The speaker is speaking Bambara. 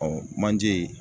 manje